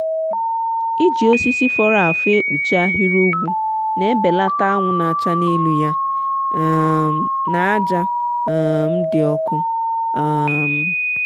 iji osisi fọrọ afọ ekpuchi ahịrị ugwu n’ebelata anwụ n’acha n’elu ya um na aja um di ọkụ. um